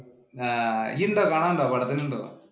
ആഹ് ഇയ്യ് ഉണ്ടോ കാണാന്‍ ഉണ്ടോ പടത്തിനു ഉണ്ടോ?